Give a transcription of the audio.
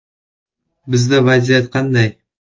Bizda vaziyat qanday?